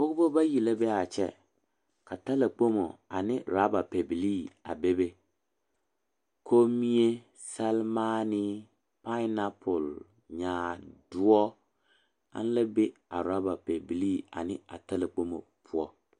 Pɔgeba bayi la be a kyɛ ka talakpoŋ ane rɔba pɛbilii a bebe Kommie, seremaani, paenapɔl, nyaadoɔ ana la be a rɔba pɛbilii ane a yalakpoŋ poɔ.